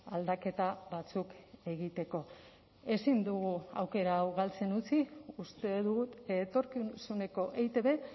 aldaketa batzuk egiteko ezin dugu aukera hau galtzen utzi uste dut etorkizuneko eitb